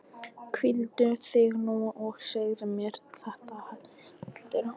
Hvíldu þig nú og segðu mér þetta heldur á morgun.